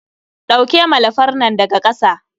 ɗauke malafar nan daga ƙasa